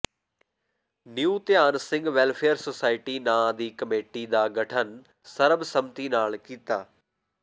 ਨਿਉ Dhian Singh welfare society ਨਾਂਅ ਦੀ committee ਦਾ ਗਠਨ ਸਰਬ ਸੰਮਤੀ ਨਾਲ ਕੀਤਾ